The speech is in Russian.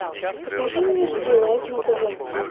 покажи мне жди лайф на тв